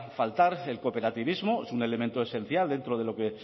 faltar el cooperativismo es un elemento esencial dentro de lo que